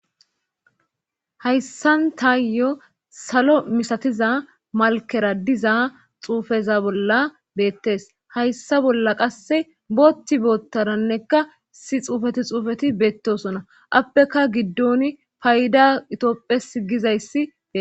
hayssantayyo salo misatiza malkera diza xuufeza bolla beettes hayssa bolla qasse bootti boottarannekka si xuufeti xuufeti beettosona appeka giddon payda itopphes gizayssi ee